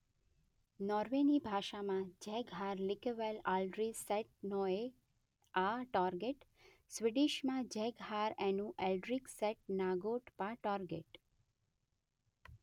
નોર્વેની ભાષામાં જેગ હાર લિકેવેલ આલ્ડ્રી સેટ નોએ આ ટોરગેટ ; સ્વિડિશમાં જેગ હાર એન્નુ એલ્ડ્રિગ સેટ નાગોટ પા ટોરગેટ.